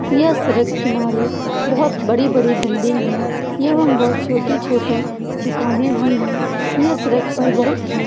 यह सड़क किनारे बहुत बड़ी-बड़ी बिल्डिंग है एवं बहुत छोटी-छोटी दुकाने भी है ये सड़क पर बहुत ही --